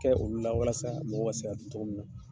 Kɛ olu la walasa mɔgɔw ka sabati togo mun na.